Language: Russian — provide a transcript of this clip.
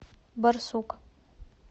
барсук